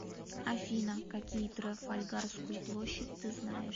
афина какие трафальгарскую площадь ты знаешь